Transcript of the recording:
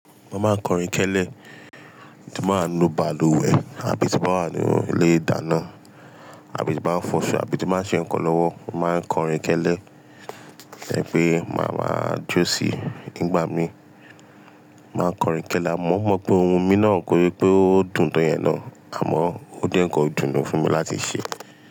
Mo máa ń kọrin kẹ́lẹ́ tí mo bá ń nu balùwẹ̀ àbí tí mo bá wà nu ilé ìdáná, àbí tí bá ń fọṣọ àbí tí mo bá ń ṣe ǹkan lọ́wọ́, màá ń kọrin kẹ́lẹ́. Ẹ̀pẹ̀ máa ma jó sí ìgbà mi. Màá kọrin kẹ́lẹ́, àmọ́ mo mọ̀ pé ohun mi náà kóse pé ó dùn to yen náà, àmọ́ ó jẹ́ ǹkan idùnu fún mi láti ṣe.